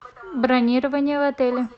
бронирование в отеле